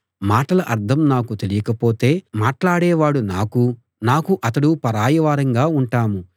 మాటల అర్థం నాకు తెలియకపోతే మాట్లాడేవాడు నాకూ నాకు అతడూ పరాయివారంగా ఉంటాం